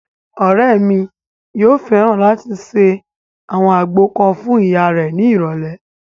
Ọ̀rẹ́ mi yóò fẹ́ràn láti ṣe àwọn àgbo kan fún ìyá rẹ̀ ní ìrọ̀lẹ̀